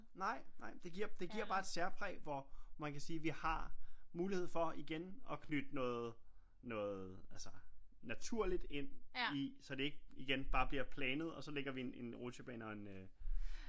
Nej nej men det giver bare et særpræg hvor man kan sige vi har mulighed for igen og knytte noget altså naturligt ind i så det ikke igen bare bliver planet og så ligger vi en rutsjebane og en øh